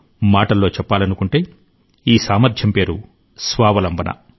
మాటల్లో చెప్పాలనుకుంటే ఈ సామర్ధ్యం పేరు స్వావలంబన